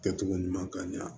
Kɛcogo ɲuman ka ɲɛ